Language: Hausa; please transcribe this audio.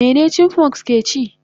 Mene chipmunks keci?